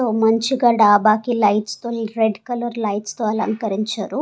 మంచిగా డాబాకి లైట్స్ తో రెడ్ కలర్ లైట్స్ తో అలంకరించారు.